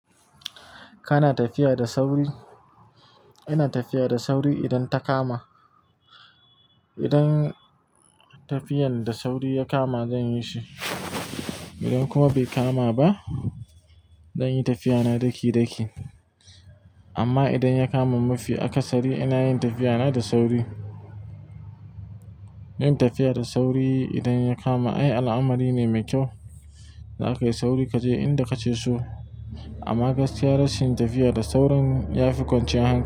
Kana tafiya da sauri? Ina tafiya da sauri idan ta kama. Idan tafiyan da sauri ya kama zan yi shi, idan kuma bai kama ba, zan yi tafiyana daki-daki. Amma idan ya kama mafi akasari ina yin tafiyana da sauri. Yin tafiya da sauri idan ya kama ai al'amari ne mai kyau. Da aka yi sauri ka je inda kake so. Amma gaskiya rashin tafiya da saurin ya fi kwanciyar hankali.